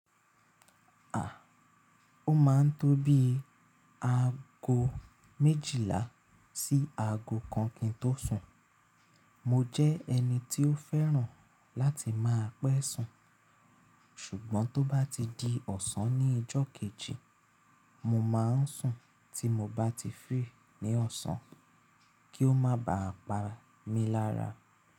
À, ó máa ń tó bí aago méjìlá sí aago kan kí n tó sùn. Mo jẹ́ ẹni tí ó fẹ́ràn láti máa pẹ́ sùn, ṣùgbọ́n tó bá ti di ọ̀sán ní ọjọ́ kejì, mo máa ń sùn tí mo bá ti free ní ọ̀sán kí ó má ba à pa mí lára.